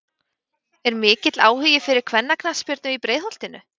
Er mikill áhugi fyrir kvennaknattspyrnu í Breiðholtinu?